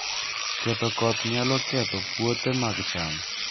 Ketho koth nyalo ketho puothe mag cham